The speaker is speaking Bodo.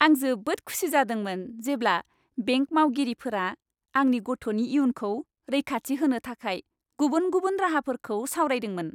आं जोबोद खुसि जादोंमोन जेब्ला बेंक मावगिरिफोरा आंनि गथ'नि इयुनखौ रैखाथि होनो थाखाय गुबुन गुबुन राहाफोरखौ सावरायदोंमोन।